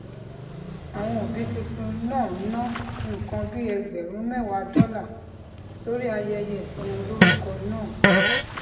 àwọn òbí tuntun náà ná nǹkan bí ẹgbèrún méwàá dólà sórí ayẹyẹ ìsọmọlórúkọ náà